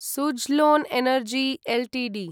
Suzlon energy Ltd